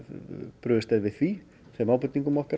brugðist við því þeim ábendingum okkar